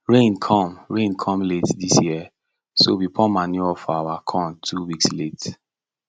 rain come rain come late this year so we pour manure for our corn two weeks late